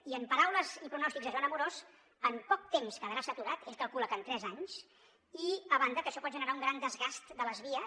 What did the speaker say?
i en paraules i pronòstics de joan amorós en poc temps quedarà saturat ell calcula que en tres anys i a banda que això pot generar un gran desgast de les vies